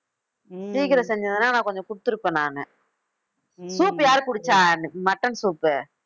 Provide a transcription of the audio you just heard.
சீக்கிரம் செஞ்சிருந்தேன்னா நான் கொஞ்சம் கொடுத்துருப்பேன் நானு soup யாரு குடிச்சா mutton soup உ